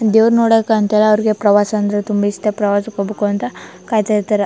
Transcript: ದೇವ್ರ ನೋಡಕ್ ಅಂತ ಹೇಳಿ ಅವ್ರಿಗೆ ಪ್ರವಾಸ ಅಂದ್ರೆ ತುಂಬಾ ಇಷ್ಟ ಪ್ರವಾಸಕ್ಕೆ ಹೋಗಬೇಕಂತ ಕಾಯತ್ತಾ ಇರ್ತ್ತರ್.